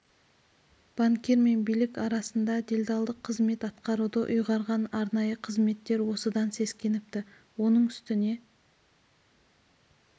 банкир мен билік арасында делдалдық қызмет атқаруды ұйғарған арнайы қызметтер осыдан сескеніпті оның үстіне